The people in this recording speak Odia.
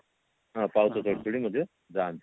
ହଁ ପାହୁଚ ଚଢି ଚଢି ମଧ୍ୟ ଯାନ୍ତି